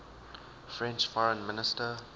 french foreign minister